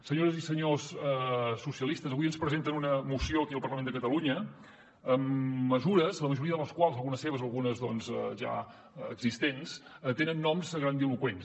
senyores i senyors socialistes avui ens presenten una moció aquí al parlament de catalunya amb mesures la majoria de les quals algunes seves algunes ja existents tenen noms grandiloqüents